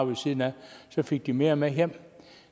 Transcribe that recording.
ved siden af fik mere med hjem